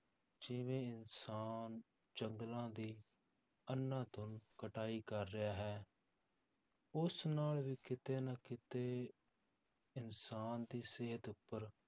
ਜਿਵੇਂ ਇਨਸਾਨ ਜੰਗਲਾਂ ਦੀ ਅੰਧਾਧੁੰਦ ਕਟਾਈ ਕਰ ਰਿਹਾ ਹੈ ਉਸ ਨਾਲ ਵੀ ਕਿਤੇ ਨਾ ਕਿਤੇ ਇਨਸਾਨ ਦੀ ਸਿਹਤ ਉੱਪਰ